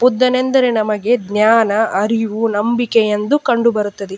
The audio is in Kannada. ಬುದ್ಧನೆಂದರೆ ನಮಗೆ ಜ್ಞಾನ ಅರಿವು ನಂಬಿಕೆ ಎಂದು ಕಂಡು ಬರುತ್ತದೆ.